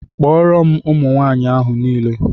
Kpọọrọ m ụmụ nwaanyị ahụ niile!